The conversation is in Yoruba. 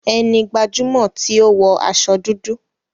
Ẹni gbajumọ ti o wọ aṣọ dúdú.